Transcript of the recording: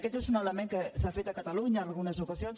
aquest és un element que s’ha fet a catalunya en algunes ocasions